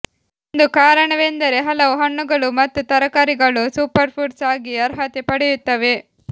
ಒಂದು ಕಾರಣವೆಂದರೆ ಹಲವು ಹಣ್ಣುಗಳು ಮತ್ತು ತರಕಾರಿಗಳು ಸೂಪರ್ಫುಡ್ಸ್ ಆಗಿ ಅರ್ಹತೆ ಪಡೆಯುತ್ತವೆ